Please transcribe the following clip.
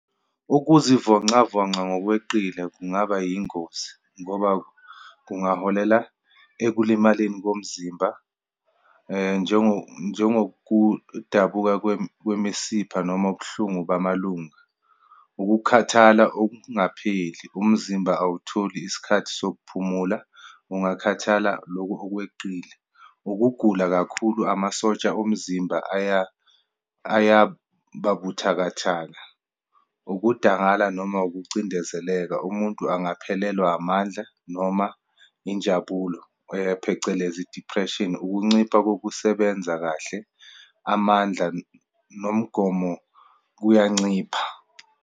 Ukuzivoncavonca ngokweqile kungaba yingozi, ngoba kungaholela ekulimaleni komzimba njengo, njengokudabuka kwemisipha noma ubuhlungu bamalunga. Ukukhathala okungapheli, umzimba awutholi isikhathi sokuphumula, kungakhathala lokhu okweqile. Ukugula kakhulu, amasotsha omzimba ayababuthakathaka. Ukudangala noma ukucindezeleka, umuntu angaphelelwa amandla, noma injabulo, phecelezi depression. Ukuncipha kokusebenza kahle, amandla nomgomo kuyancipha.